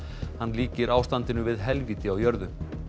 hann líkir ástandinu við helvíti á jörðu